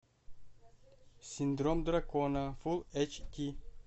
синдром дракона фулл эйч ди